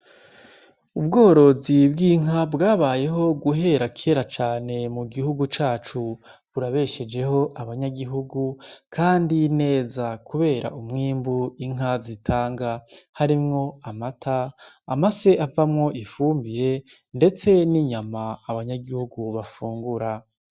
Ubworozi bw'inka bwabayeho guhera kera cane mu gihugu cacu burabeshejeho abanyagihugu, kandi neza, kubera umwimbu inka zitanga harimwo amata ama se avamwo ifumbire, ndetse n'inyama abanyagihugu bafungure ra.